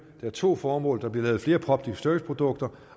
har to formål der bliver lavet flere public service produkter